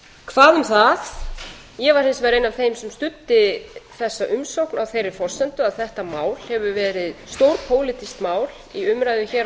hvað um það ég var hins vegar ein af þeim sem studdi þessa umsókn á þeirri forsendu að þetta mál hefur verið stórpólitískt mál í umræðum hér á